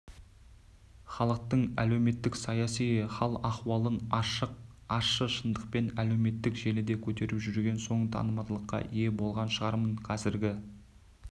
халықтың әлеуметтік-саяси хал-ахуалын ашық ащы шындықпен әлеуметтік желіде көтеріп жүрген соң танымалдыққа ие болған шығармын қазіргі